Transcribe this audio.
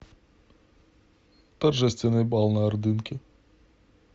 торжественный бал на ордынке